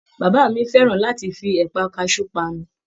Bàbá mi fẹràn láti fí ẹpa kasú panu.